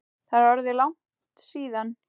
Það er orðið langt síðan.